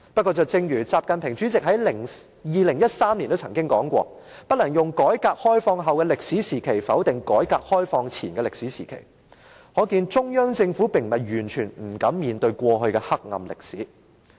不過，習近平主席2013年說過："不能用改革開放後的歷史時期，否定改革開放前的歷史時期"，可見中央政府並非完全不敢面對過去的黑暗歷史。